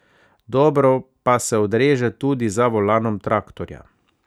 Dobro pa se odreže tudi za volanom traktorja.